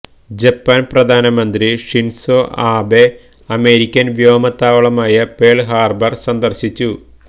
ജപ്പാന് പ്രധാനമന്ത്രി Shinzo Abe American വ്യോമത്താവളമായ Pearl Harbor സന്ദര്ശിച്ചു